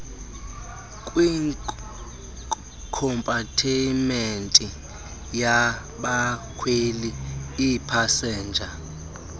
kwikompatimenti yabakhweli iipasenja